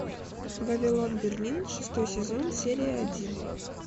вавилон берлин шестой сезон серия один